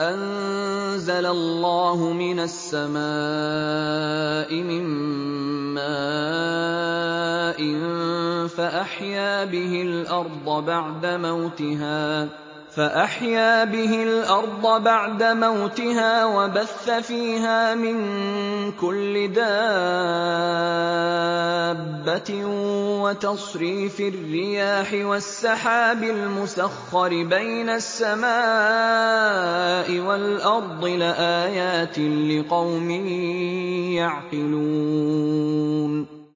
أَنزَلَ اللَّهُ مِنَ السَّمَاءِ مِن مَّاءٍ فَأَحْيَا بِهِ الْأَرْضَ بَعْدَ مَوْتِهَا وَبَثَّ فِيهَا مِن كُلِّ دَابَّةٍ وَتَصْرِيفِ الرِّيَاحِ وَالسَّحَابِ الْمُسَخَّرِ بَيْنَ السَّمَاءِ وَالْأَرْضِ لَآيَاتٍ لِّقَوْمٍ يَعْقِلُونَ